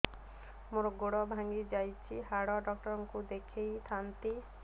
ମୋର ଗୋଡ ଭାଙ୍ଗି ଯାଇଛି ହାଡ ଡକ୍ଟର ଙ୍କୁ ଦେଖେଇ ଥାନ୍ତି